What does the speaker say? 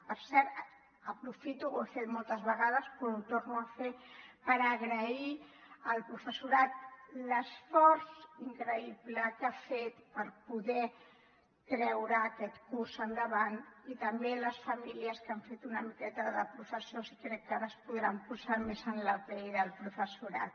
per cert aprofito ho he fet moltes vegades però ho torno a fer per agrair al professorat l’esforç increïble que ha fet per poder treure aquest curs endavant i també a les famílies que han fet una miqueta de professors i crec que ara es podran posar més en la pell del professorat